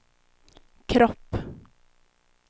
kropp